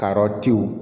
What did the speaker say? Karɔtiw